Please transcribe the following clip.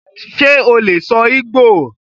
Ṣe o lè sọ Igbò?